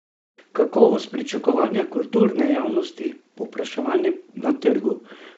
Kakovost, pričakovanja kulturne javnosti, povpraševanje na trgu?